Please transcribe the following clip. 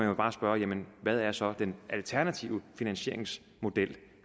jo bare spørge hvad er så den alternative finansieringsmodel